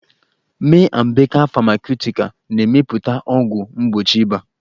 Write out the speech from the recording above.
May & baker Famakutical na-emepụta ọgwụ mgbochi ịba